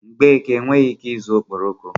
Mgbeke enweghị ike ịzụ okporoko.